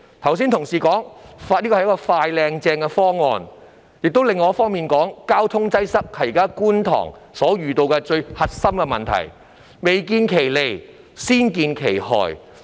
有同事剛才說這是一個"快、靚、正"的方案，但另一方面又說，交通擠塞是觀塘現時面對的最核心問題，未見其利，先見其害。